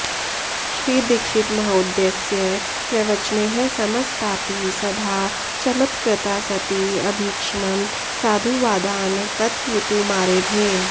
श्रीदीक्षितमहोदयस्य प्रवचनैः समस्तापि सभा चमत्कृता सती अभीक्ष्णं साधुवादान् कथयितुमारेभे